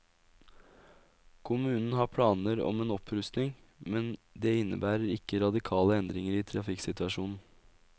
Kommunen har planer om en opprustning, men det innebærer ikke radikale endringer i trafikksituasjonen.